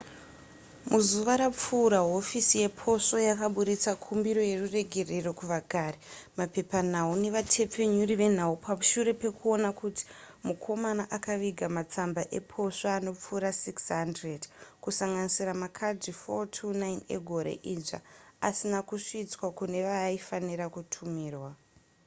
muzuva rapfuura hofisi yeposvo yakaburitsa kumbiro yeruregerero kuvagari mapepanhau nevatepfenyuri venhau pashure pekuona kuti mukomana akaviga matsamba eposvo anopfuura 600 kusanganisira makadhi 429 egore idzva asina kusvitswa kune vaaifanirwa kutumirwa